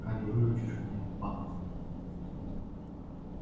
пока не выручишь меня падла